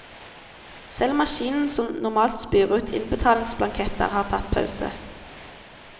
Selv maskinen som normalt spyr ut innbetalingsblanketter, har tatt pause.